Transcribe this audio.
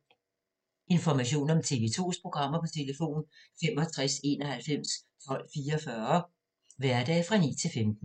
Information om TV 2's programmer: 65 91 12 44, hverdage 9-15.